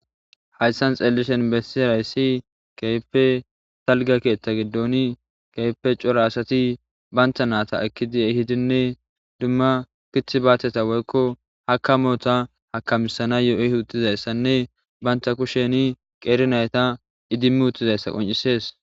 hayssan xeelishen bessi rayssi keype talga keetta giddoni keype cora asati banta naata ekki di7e hidinne dumma kit baateta woykko hakamoota hakamisana yo7oy utizayssanne banta kusheni qeeri nayta idimmi uttizayssa qoncisees